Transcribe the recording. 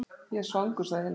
Ég er svangur, sagði Hilmar.